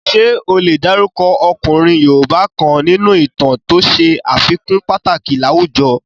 Ṣé o lè dárúkọ ọkùnrin yoòbá kan nínú ìtàn to ṣe àfikún pàtàkì láwùjọ?